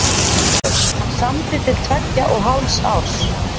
Hann samdi til tveggja og hálfs árs.